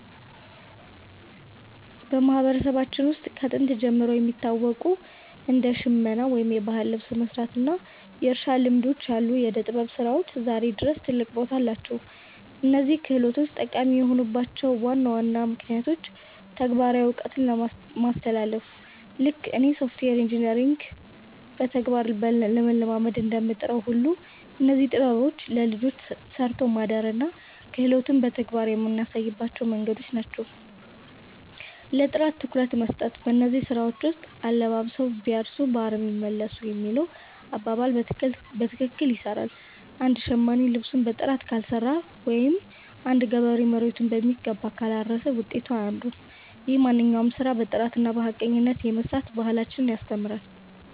በማህበረሰባችን ውስጥ ከጥንት ጀምሮ የሚታወቁ እንደ ሽመና (የባህል ልብስ መስራት) እና የእርሻ ልማዶች ያሉ የዕደ-ጥበብ ስራዎች ዛሬም ድረስ ትልቅ ቦታ አላቸው። እነዚህ ክህሎቶች ጠቃሚ የሆኑባቸው ዋና ዋና ምክንያቶች ተግባራዊ እውቀት ማስተላለፍ፦ ልክ እኔ ሶፍትዌር ኢንጂነሪንግን በተግባር ለመለማመድ እንደምጥረው ሁሉ፣ እነዚህም ጥበቦች ለልጆቻችን 'ሰርቶ ማደርን' እና 'ክህሎትን' በተግባር የምናሳይባቸው መንገዶች ናቸው። ለጥራት ትኩረት መስጠት፦ በእነዚህ ስራዎች ውስጥ 'አለባብሰው ቢያርሱ በአረም ይመለሱ' የሚለው አባባል በትክክል ይሰራል። አንድ ሸማኔ ልብሱን በጥራት ካልሰራው ወይም አንድ ገበሬ መሬቱን በሚገባ ካላረሰ ውጤቱ አያምርም። ይህም ማንኛውንም ስራ በጥራትና በሐቀኝነት የመስራት ባህልን ያስተምራል።